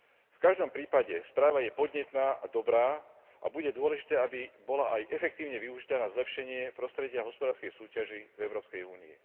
V každom prípade, správa je podnetná a dobrá, a bude dôležité, aby bola aj efektívne využitá na zlepšenie prostredia hospodárskej súťaži v Európskej únii.